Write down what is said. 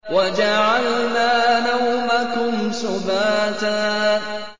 وَجَعَلْنَا نَوْمَكُمْ سُبَاتًا